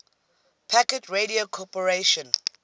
packet radio corporation